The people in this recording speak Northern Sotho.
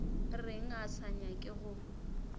reng a sa nyake go